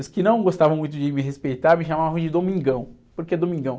Os que não gostavam muito de me respeitar me chamavam de Domingão. Porque Domingão?